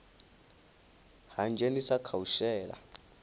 ha dzhenisa kha u shela